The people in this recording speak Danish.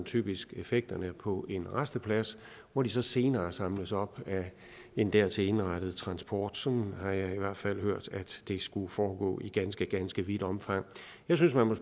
typisk effekterne på en rasteplads hvor de senere samles op af en dertil indrettet transport sådan har jeg i hvert fald hørt at det skulle foregå i ganske ganske vidt omfang jeg synes man må